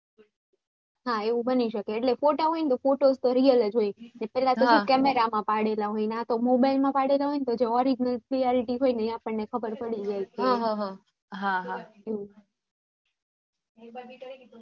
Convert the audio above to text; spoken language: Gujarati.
હા એવું બની શકે photo હોય તો photo તો real જ હોય છે પેહલા તો કેવા camera માં પડેલા હોય આતો શું mobile માં પડેલા હોય તો orignal clarity હોય ને ખબર પડી જાય છે